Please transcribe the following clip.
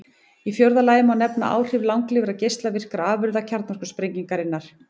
Í fjórða lagi má nefna áhrif langlífra geislavirkra afurða kjarnorkusprengingarinnar.